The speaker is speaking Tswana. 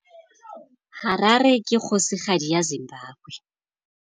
Harare ke kgosigadi ya Zimbabwe.